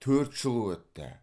төрт жыл өтті